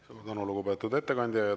Suur tänu, lugupeetud ettekandja!